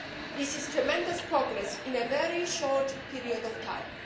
This is tremendous progress in a very short period of time.